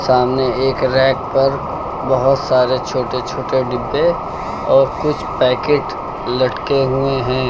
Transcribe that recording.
सामने एक रैक पर बहुत सारे छोटे छोटे डिब्बे और कुछ पैकेट लटके हुए हैं।